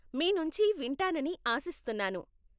మీ నుంచి వింటానని ఆసిస్తున్నాను.